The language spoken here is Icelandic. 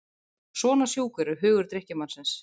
Svona sjúkur er hugur drykkjumannsins.